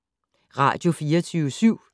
Radio24syv